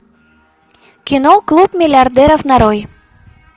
кино клуб миллиардеров нарой